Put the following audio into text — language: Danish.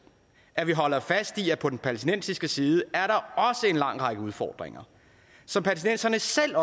at vi holder fast i at på den palæstinensiske side er der også en lang række udfordringer som palæstinenserne selv